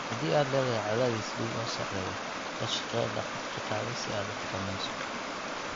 Haddii aad leedahay cadaadis dhiig oo sarreeya, la shaqee dhakhtarkaaga si aad u xakamayso.